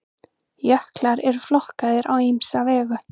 jöklar eru flokkaðir á ýmsa vegu